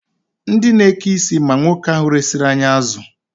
Ndị na-eke isi ma nwoke ahụ resiri anyị azụ.